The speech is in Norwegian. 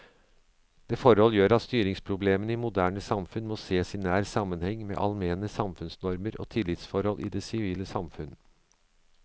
Dette forhold gjør at styringsproblemene i moderne samfunn må sees i nær sammenheng med allmenne samfunnsnormer og tillitsforhold i det sivile samfunn.